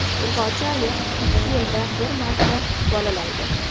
Urg‘ochi ayiq ikki yilda bir marta bolalaydi.